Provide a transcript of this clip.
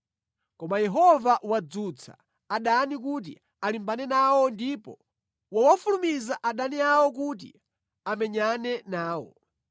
Koma Yehova wadzutsa adani kuti alimbane nawo ndipo wawafulumiza adani awo kuti amenyane nawo.